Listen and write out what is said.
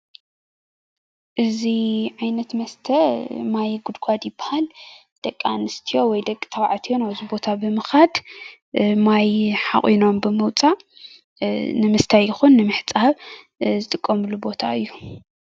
እዚ ዓይነት መስተ ማይ ጉድጓድ ይባሃል ደቂ ኣንስትዮ ወይ ደቂ ተባዕትዮ ነዊሕ ቦታ ብምካድ ማይ ሓቁኖም ብምውፃእ ንምስታይ ይኩን ንምሕፃብ ዝጥቀምሉ ቦታ እዩ፡፡